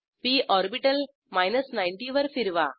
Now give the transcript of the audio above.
P orbital 90 वर फिरवा